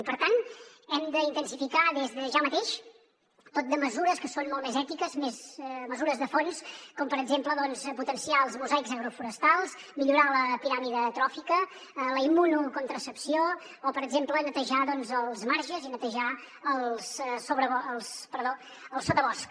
i per tant hem d’intensificar des de ja mateix tot de mesures que són molt més ètiques mesures de fons com per exem·ple potenciar els mosaics agroforestals millorar la piràmide tròfica la immunocon·tracepció o per exemple netejar els marges i netejar el sotabosc